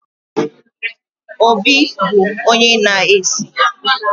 Obi bụ onye na-esi